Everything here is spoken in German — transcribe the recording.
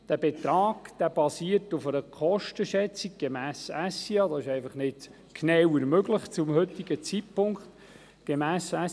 Dieser Betrag basiert auf einer Kostenschätzung gemäss den Normen des Schweizer Ingenieur- und Architektenvereins SIA mit einer Genauigkeit von ungefähr 20 Prozent.